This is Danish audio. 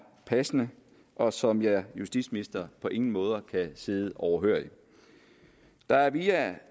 passende og som jeg justitsminister på ingen måde kan sidde overhørig der er via